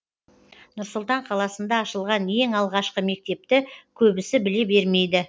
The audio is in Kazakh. нұр сұлтан қаласында ашылған ең алғашқы мектепті көбісі біле бермейді